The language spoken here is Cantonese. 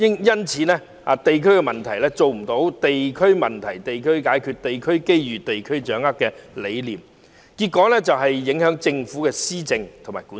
因此，不能做到"地區問題地區解決，地區機遇地區掌握"的理念，結果影響政府的施政和管治。